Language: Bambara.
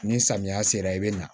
Ni samiya sera i bɛ na